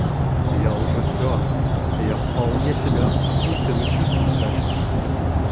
я уже все я вполне себя ахуительно чувствовать начал